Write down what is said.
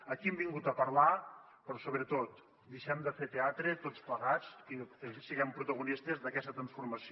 aquí hem vingut a parlar però sobretot deixem de fer teatre tots plegats i siguem protagonistes d’aquesta transformació